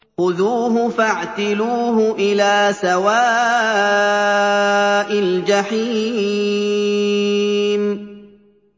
خُذُوهُ فَاعْتِلُوهُ إِلَىٰ سَوَاءِ الْجَحِيمِ